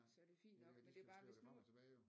Så er det fint nok men det er bare hvis nu